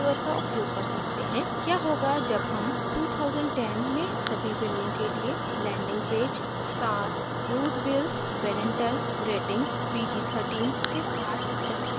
क्या होगा जब हम 2010 में सभी फिल्मों के लिए landing page star bruce willis parental rating pg 13 के साथ चाहते हैं